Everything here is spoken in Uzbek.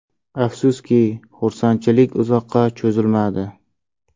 Afsuski, xursandchilik uzoqqa cho‘zilmadi.